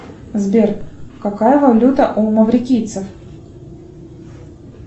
сбер какая валюта у маврикийцев